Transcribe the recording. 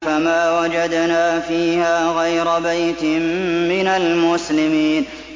فَمَا وَجَدْنَا فِيهَا غَيْرَ بَيْتٍ مِّنَ الْمُسْلِمِينَ